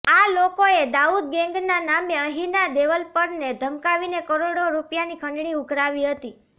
આ લોકોએ દાઉદ ગેન્ગના નામે અહીંના ડેવલપરને ધમકાવી કરોડો રૂપિયાની ખંડણી ઉઘરાવી હતી